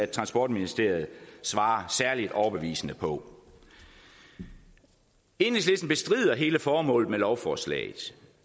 transportministeriet svarer særlig overbevisende på enhedslisten bestrider hele formålet med lovforslaget